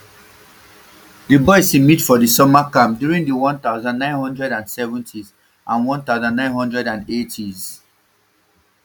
di boys e meet for di summer camps during di one thousand, nine hundred and seventys and one thousand, nine hundred and eightys